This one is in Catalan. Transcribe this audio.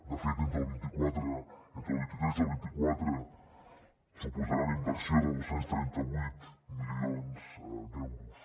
de fet entre el vint tres i el vint quatre suposarà una inversió de dos cents i trenta vuit milions d’euros